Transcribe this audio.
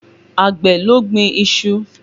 Àgbẹ̀ ló gbin iṣu